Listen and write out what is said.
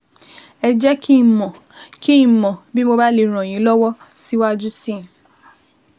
Ẹ jẹ́ kí n mọ̀ kí n mọ̀ bí mo bá lè ràn yín lọ́wọ́ síwájú sí i